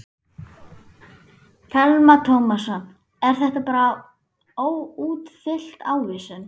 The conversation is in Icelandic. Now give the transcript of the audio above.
Telma Tómasson: Er þetta bara óútfyllt ávísun?